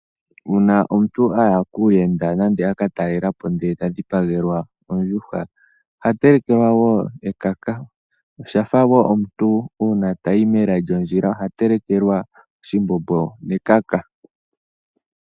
Uuna omuntu aya kuuyenda nenge aka talelapo ndele ta dhipagelwa ondjuhwa, oha telekelwa wo ekaka. Oshafa wo omuntu uuna tayi mela lyondjila oha telekelwa oshimbombo nekaka.